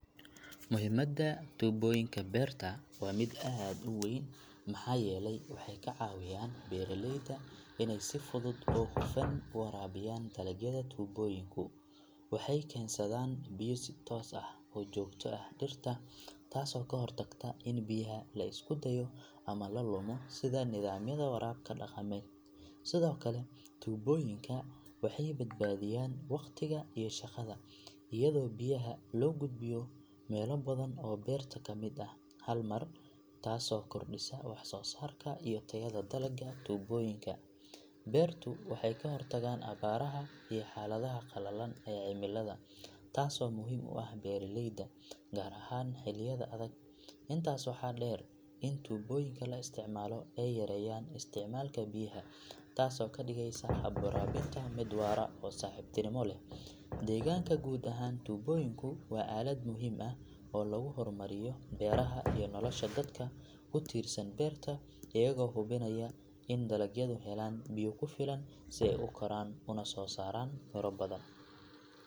Muhimadda tubooyinka beerta waa mid aad u weyn maxaa yeelay waxay ka caawiyaan beeraleyda inay si fudud oo hufan u waraabiyaan dalagyada tubooyinku waxay keensadaan biyo si toos ah oo joogto ah dhirta taasoo ka hortagta in biyaha la iska daayo ama la lumo sida nidaamyada waraabka dhaqameed sidoo kale tubooyinka waxay badbaadiyaan waqtiga iyo shaqada iyadoo biyaha loo gudbiyo meelo badan oo beerta ka mid ah hal mar taasoo kordhisa wax soo saarka iyo tayada dalagga tubooyinka beertu waxay ka hortagaan abaaraha iyo xaaladaha qallalan ee cimilada taasoo muhiim u ah beeraleyda gaar ahaan xilliyada adag intaas waxaa dheer in tubooyinka la isticmaalo ay yareeyaan isticmaalka biyaha taasoo ka dhigaysa hab waraabinta mid waara oo saaxiibtinimo leh deegaanka guud ahaan tubooyinku waa aalad muhiim ah oo lagu horumarinayo beeraha iyo nolosha dadka ku tiirsan beerta iyagoo hubinaya in dalagyadu helaan biyo ku filan si ay u koraan una soo saaraan miro badan.